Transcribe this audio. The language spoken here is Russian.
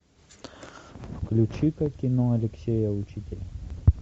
включи ка кино алексея учителя